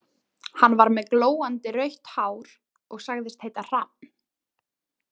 Hann var með glóandi rautt hár og sagðist heita Hrafn.